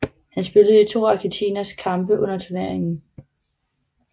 Han spillede i to af argentinernes kampe under turneringen